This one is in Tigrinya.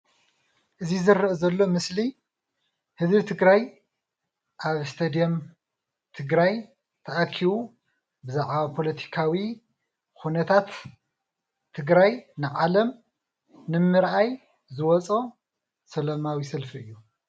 እዚ ዝረአ ዘሎ ምስሊ ንህዝቢ ትግራይ ኣብ እስቶድየም ትግራይ ተኣኪቡ ብዛዕባ ፖለቲካዊ ኩነታት ትግራይ ንዓለም ንምርኣይ ዝወፆ ሰለማዊ ሰልፊ እዩ፡፡